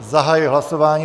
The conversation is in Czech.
Zahajuji hlasování.